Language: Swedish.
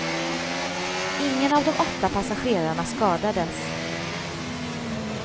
Ingen av de åtta passagerarna skadades.